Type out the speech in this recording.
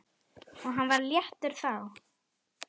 Og hann var léttur þá.